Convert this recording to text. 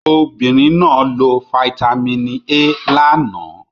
Obìnrin náà lo fáítámínì A lánàá